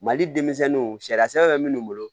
Mali denmisɛnninw sariyasen bɛ minnu bolo